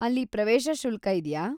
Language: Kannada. ಅಲ್ಲಿ ಪ್ರವೇಶ ಶುಲ್ಕ ಇದೆಯಾ?